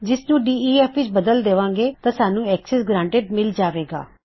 ਜਿਸਨੂੰ ਡੇਫ ਵਿਚ ਬਦਲ ਦਿਆਂ ਗੇ ਤਾਂ ਸਾਨੂੰ ਅਕਸੈਸ ਗ੍ਰਾਂਨਟੀਡ ਮਿਲ ਜਾਵੇਗਾ